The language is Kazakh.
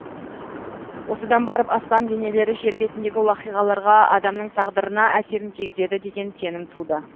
осыдан барып аспан денелері жер бетіндегі уақиғаларға адамның тағдырына әсерін тигізеді деген сенім туды